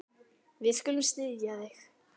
Við skulum styðja þig.